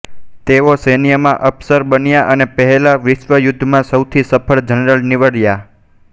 તેઓ સૈન્યમાં અફસર બન્યા અને પહેલાં વિશ્વયુદ્ધમાં સૌથી સફળ જનરલ નીવડ્યાં